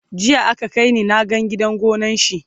jiya aka kaini na gan gidan gonan shi